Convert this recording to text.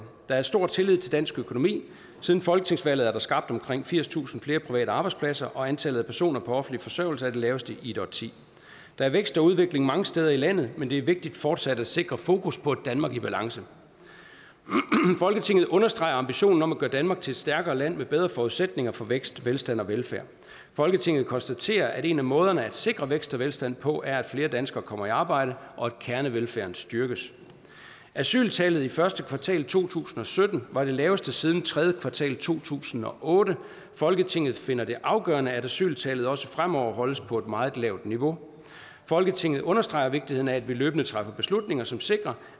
der er stor tillid til dansk økonomi siden folketingsvalget er der skabt omkring firstusind flere private arbejdspladser og antallet af personer på offentlig forsørgelse er det laveste i et årti der er vækst og udvikling mange steder i landet men det er vigtigt fortsat at sikre fokus på et danmark i balance folketinget understreger ambitionen om at gøre danmark til et stærkere land med bedre forudsætninger for vækst velstand og velfærd folketinget konstaterer at en af måderne at sikre vækst og velstand på er at flere danskere kommer i arbejde og at kernevelfærden styrkes asyltallet i første kvartal to tusind og sytten var det laveste siden tredje kvartal to tusind og otte folketinget finder det afgørende at asyltallet også fremover holdes på et meget lavt niveau folketinget understreger vigtigheden af at vi løbende træffer beslutninger som sikrer